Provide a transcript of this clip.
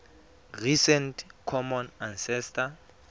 recent common ancestor